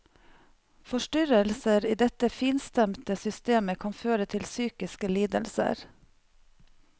Forstyrrelser i dette finstemte systemet kan føre til psykiske lidelser.